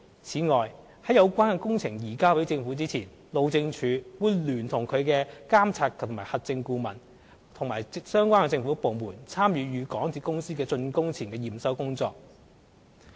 此外，在有關工程移交給政府前，路政署會聯同其監核顧問和相關政府部門參與港鐵公司的竣工前驗收工作。